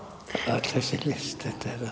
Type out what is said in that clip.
öll þessi list